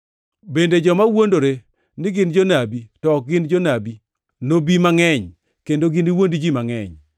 bende joma wuondore ni gin jonabi to ok gin nobi mangʼeny kendo giniwuond ji mangʼeny.